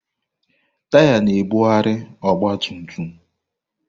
Taya na-ebugharị ọgba tum tum.